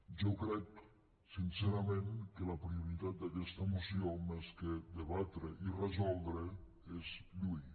jo crec sincerament que la prioritat d’aquesta moció més que debatre i resoldre és lluir